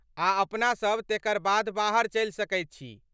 आ अपनासभ तेकर बाद बाहर चलि सकैत छी।